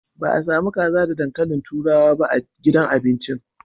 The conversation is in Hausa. Ba a sami kaza da dankalin turawa ba a gidan abincin.